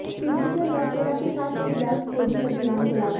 तुर्की ने नौसेना के साथ एक गैस खोजी अभियान चलाया